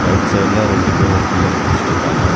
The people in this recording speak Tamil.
ரைட் சைடுல ரெண்டு பேரு ஒரு பில்லர் புடுஸ்ஸுட்டுக்காங்க.